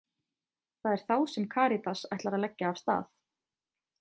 Það er þá sem Karítas ætlar að leggja af stað.